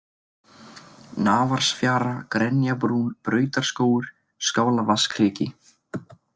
Nafarsfjara, Grenjabrún, Brautarskógur, Skálavatnskriki